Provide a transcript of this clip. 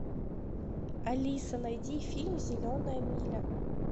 алиса найди фильм зеленая миля